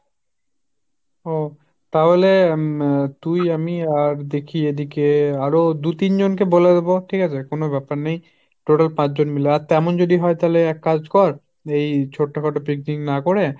ওহ, তাহলে উম তুই আমি আর দেখি এদিকে আরো দু-তিন জন কে বলে দেব, ঠিক আছে কোনো ব্যাপার নেই, total পাঁচ জন মিলে। আর তেমন যদি হয় তাহলে এক কাজ কর এই ছোট্ট খাটো picnic না করে